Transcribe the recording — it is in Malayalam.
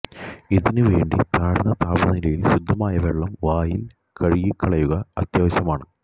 ഇതിനു വേണ്ടി താഴ്ന്ന താപനിലയിൽ ശുദ്ധമായ വെള്ളം വായിൽ കഴുകിക്കളയുക അത്യാവശ്യമാണ്